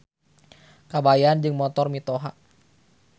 Kabayan Jeung Motor Mitoha.